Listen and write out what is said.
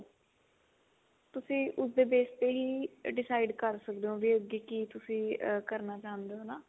ਤੁਸੀਂ ਉਸਦੇ base ਤੇ ਹੀ decide ਕਰ ਸਕਦੇ ਹੋ ਕਿ ਅੱਗੇ ਤੁਸੀਂ ਕਿ ਕਰਨਾ ਚਾਹੁੰਦੇ ਹੋ ਨਾ